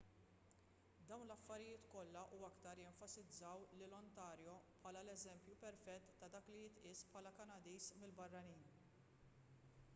dawn l-affarijiet kollha u aktar jenfasizzaw lil ontario bħala l-eżempju perfett ta' dak li jitqies bħala kanadiż mill-barranin